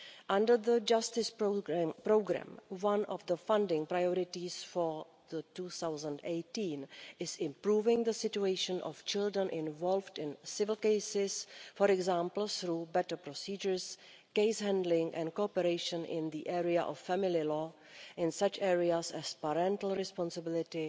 Under the Justice programme, one of the funding priorities for 2018 is improving the situation of children involved in civil cases, for example through better procedures, case handling and cooperation in the area of family law in such areas as parental responsibility,